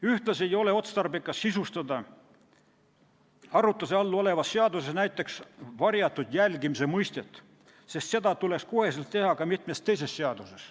Ühtlasi ei ole otstarbekas sisustada arutluse all olevas seaduses näiteks varjatud jälgimise mõistet, sest seda tuleks kohe teha ka mitmes teises seaduses.